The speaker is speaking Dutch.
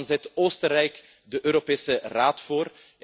Dan zit Oostenrijk de Europese Raad voor.